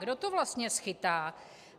Kdo to vlastně schytá?